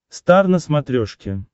стар на смотрешке